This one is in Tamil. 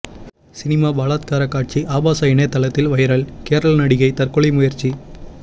சினிமா பலாத்கார காட்சி ஆபாச இணையதளத்தில் வைரல் கேரள நடிகை தற்கொலை முயற்சி